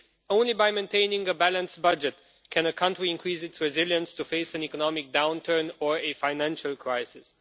Only by maintaining a balanced budget can a country increase its resilience in order to face an economic downturn or a financial crisis.